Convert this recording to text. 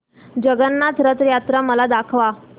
जगन्नाथ रथ यात्रा मला दाखवा